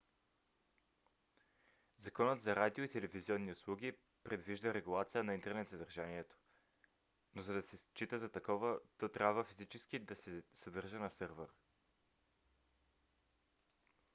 законът за радио и телевизионни услуги предвижда регулация на интернет съдържанието но за да се счита за такова то трябва физически да се съдържа на сървър